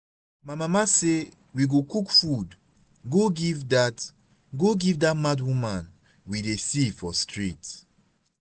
my mama say we go cook food go give dat go give dat mad woman we dey see for street